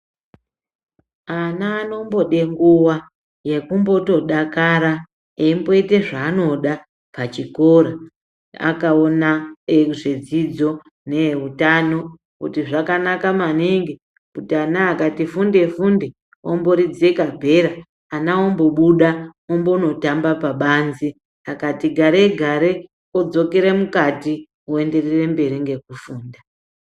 Ana anombode nguva yekumbotodakara emboite zvaanoda pachikora. Akaona ezvidzidzo neehutano kuti zvakanaka maningi kuti ana akati funde-funde omboridze kabhera ana ombobuda ombonotamba pabanze. Akati gare-gare odzokere mukati oenderere mberi ngekufunda.